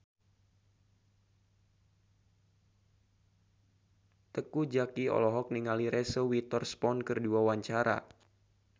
Teuku Zacky olohok ningali Reese Witherspoon keur diwawancara